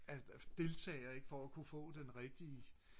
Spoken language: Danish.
af deltagere ikke for at kunne få den rigtige